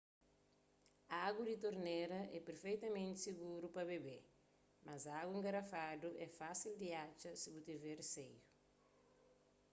agu di tornera é perfetamenti siguru pa bébe mas agu engarafadu é fasil di atxa si bu tiver riseiu